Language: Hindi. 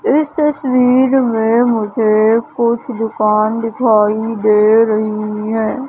इस तस्वीर में मुझे कुछ दुकान दिखाई दे रही हैं।